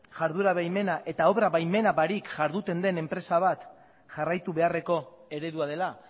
iharduera baimena eta obra baimena barik iharduten den enpresa bat jarraitu beharreko eredua dela